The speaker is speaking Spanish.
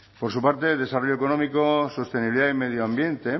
por su parte desarrollo económico sostenibilidad y medioambiente